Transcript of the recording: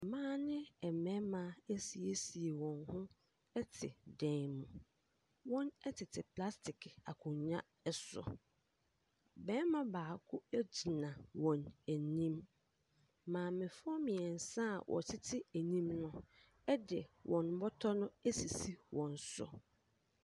Mmaa ɛne mmɛrima asiesie wɔn ho ɛte dan mu. Wɔn ɛtete plastiki akonwa ɛso. Bɛrima baako egyina wɔn anim. Maame foɔ mmiɛnsa a wɔtete anim no ɛde wɔn bɔtɔ no esisi wɔn so.